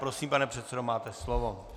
Prosím, pane předsedo, máte slovo.